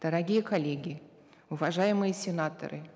дорогие коллеги уважаемые сенаторы